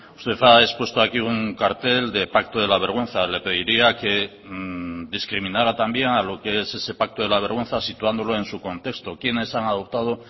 usted ha expuesto aquí un cartel de pacto de la vergüenza le pediría que discriminara también a lo que es ese pacto de la vergüenza situándolo en su contexto quiénes han adoptado